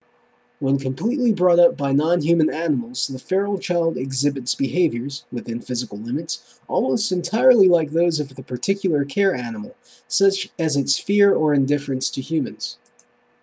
when completely brought up by non-human animals the feral child exhibits behaviors within physical limits almost entirely like those of the particular care-animal such as its fear of or indifference to humans